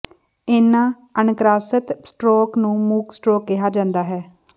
ਇਨ੍ਹਾਂ ਅਣਕ੍ਰਾਸਤ ਸਟਰੋਕ ਨੂੰ ਮੂਕ ਸਟਰੋਕ ਕਿਹਾ ਜਾਂਦਾ ਹੈ